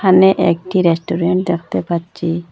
এনে একটি রেস্টুরেন্ট দেখতে পাচ্চি।